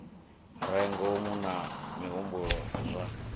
re ngomu na mihumbulo zwa